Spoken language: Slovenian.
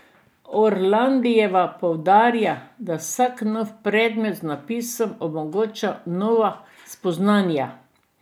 Orlandijeva poudarja, da vsak nov predmet z napisom omogoča nova spoznanja.